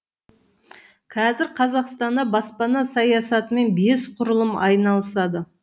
қазір қазақстанда баспана саясатымен бес құрылым айналысады